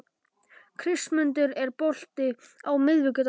Kristmundur, er bolti á miðvikudaginn?